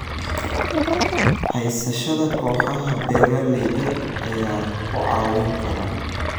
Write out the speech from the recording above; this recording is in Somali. Haysashada kooxaha beeralayda ayaa ku caawin kara.